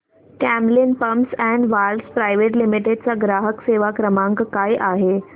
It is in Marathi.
Camlin pumps and valves private limited चा ग्राहक सेवा क्रमांक काय आहे